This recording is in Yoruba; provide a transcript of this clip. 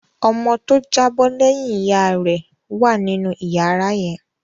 Ọmọ tó jábọ́ lẹ́yìn ìyá rẹ̀ rẹ̀ wà nínú ìyàrá yẹn.